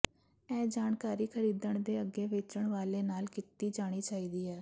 ਇਹ ਜਾਣਕਾਰੀ ਖਰੀਦਣ ਦੇ ਅੱਗੇ ਵੇਚਣ ਵਾਲੇ ਨਾਲ ਕੀਤੀ ਜਾਣੀ ਚਾਹੀਦੀ ਹੈ